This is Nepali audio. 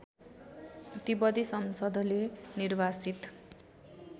तिब्बती संसदले निर्वासित